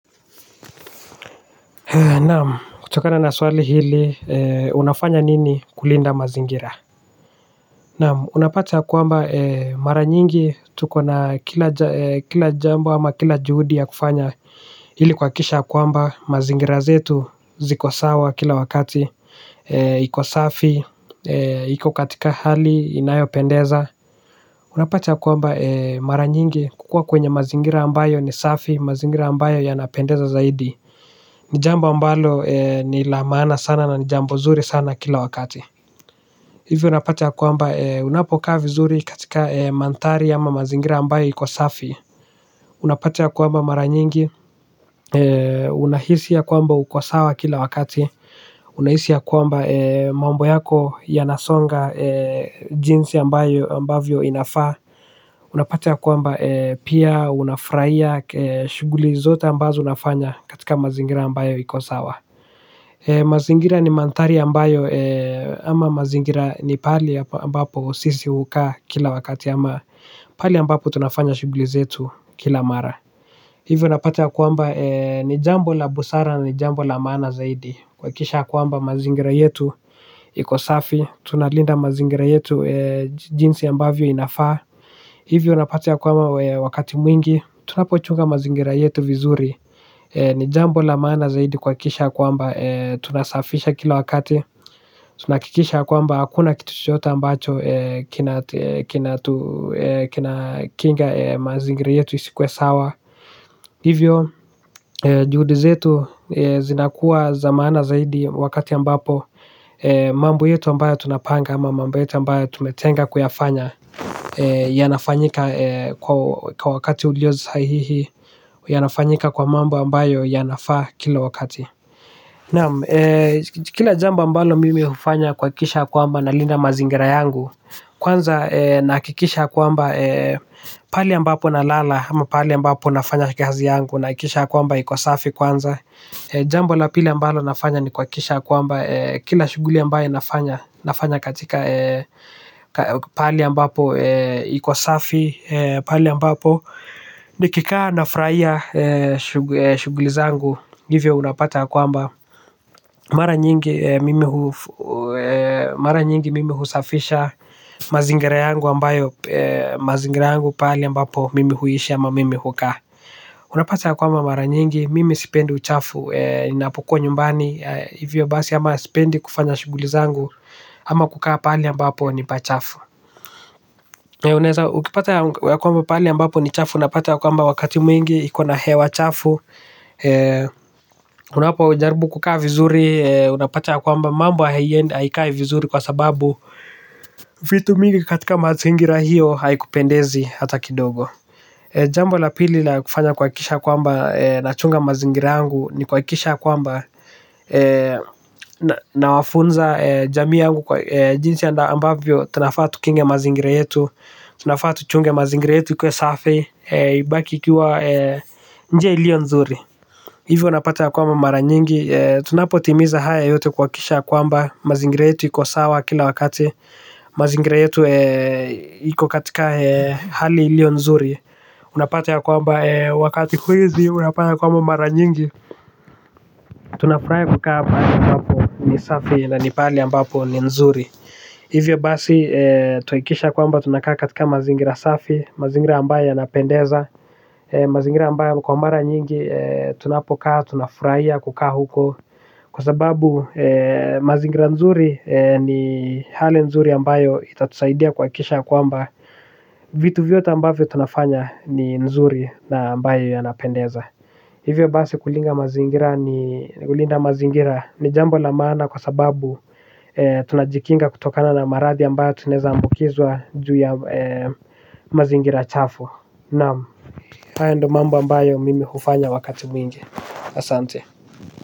Naam kutokana na swali hili unafanya nini kulinda mazingira. Naam unapati ya kwamba mara nyingi tuko na kila jambo ama kila juhudi ya kufanya hili kuwa kisha kwamba mazingira zetu ziko sawa kila wakati kwa safii iko katika hali inayopendeza. Unapata kwamba mara nyingi kukuwa kwenye mazingira ambayo ni safi, mazingira ambayo yanapendeza zaidi. Nijambo ambalo ni la maana sana na nijambo zuri sana kila wakati. Hivyo unapata kwamba unapokaa vizuri katika mantari ama mazingira ambayo ikosafi. Unapata kwamba mara nyingi unahisi ya kwamba uko sawa kila wakati. Unahisi ya kwamba mambo yako ya nasonga jinsi ambavyo inafaa. Unapati kwamba pia unafraia shuguli zote ambazo unafanya katika mazingira ambayo ikosawa. Mazingira ni mantari ambayo ama mazingira ni pali ambapo sisi uka kila wakati ama pali ambapo tunafanya shughlizetu kila mara. Hivyo unapati kwamba ni jambo la busara ni jambo la maana zaidi. Kwa kisha kwamba mazingira yetu iko safi tunalinda mazingira yetu jinsi ambavyo inafaa. Hivyo unapata ya kwamba wakati mwingi tunapochunga mazingira yetu vizuri. Ni jambo la maana zaidi kwakisha kwamba tunasafisha kila wakati. Tunakikisha kwamba hakuna kituchote ambacho kina kinga mazingira yetu isi kuwe sawa. Hivyo, juhudizetu zinakuwa za maana zaidi. Wakati ambapo mambo yetu ambayo tunapanga ama mambo yetu ambayo tumetenga kuyafanya. Yanafanyika kwa wakati uliyo sahihi. Yanafanyika kwa mambo ambayo yanafaa kila wakati. Kila jamba ambalo mimi ufanya kwa kisha kwamba nalina mazingira yangu. Kwanza nakikisha kwamba pali ambapo na lala. Ama pali ambapo nafanya kazi yangu. Nakikisha kwamba ikosafi kwanza. Jambo la pili ambayo nafanya ni kwa kisha kwamba kila shuguli ambayo nafanya. Nafanya katika pali ambapo ikosafi. Pali ambapo ni kikaa nafuraia shughuli zangu hivyo unapata ya kwamba mara nyingi mimi husafisha mazingira yangu ambayo mazingira yangu pali ambapo mimi huishi ama mimi hukaa. Unapata ya kwamba mara nyingi mimi sipendi uchafu. Ninapokuwa nyumbani hivyo basi ama sipendi kufanya shughulizangu. Ama kukaa pali ambapo ni pachafu. Unaeza ukipata ya kwamba pali ambampo ni chafu unapata wakati mwigi iko na hewa chafu kunapo kujaribu kukaa vizuri unapata ya kwamba mambo haikai vizuri kwa sababu vitu mingi katika mazingira hiyo, haikupendezi hata kidogo. Jambo la pili la kufanya kwa kisha kwamba, nachunga mazingira yangu, ni kwa kisha kwamba, na wafunza jamiangu kwa jinsi anda ambavyo, tunafaa tukinge mazingira yetu, tunafaa tuchunge mazingira yetu ikuwe safi, ibaki ikiwa nje iliyo nzuri. Hivyo unapata ya kwama mara nyingi tunapo timiza haya yote kwa kisha kwamba mazingira yetu iko sawa kila wakati. Mazingira yetu yuko katika hali iliyo nzuri. Unapata ya kwamba wakati kwizi unapata ya kwama mara nyingi tunafurai kukaa hapa mbapo ni safi na nipali mbapo ni nzuri. Hivyo basi tuikisha kwamba tunakaa katika mazingira safi. Mazingira ambaya yanapendeza. Mazingira ambayo kwa mara nyingi tunapokaa, tunafuraia kukaa huko. Kwa sababu mazingira nzuri ni hali nzuri ambayo itatusaidia kwa kisha kwamba vitu vyote ambavyo tunafanya ni nzuri na ambayo yanapendeza. Hivyo basi kulinda mazingira ni jambo lamaana kwa sababu tunajikinga kutokana na marathi ambayo tunaeza ambukizwa juu ya mazingira chafu. Naam haya ndo mambo ambayo mimi hufanya wakati mwingi asante.